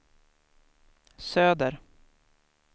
söder